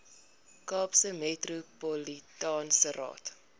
kaapse metropolitaanse raad